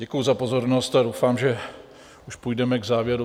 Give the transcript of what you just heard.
Děkuji za pozornost a doufám, že už půjdeme k závěru.